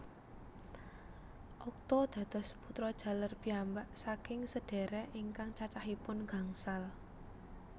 Okto dados putra jaler piyambak saking sedhérék ingkang cacahipun gangsal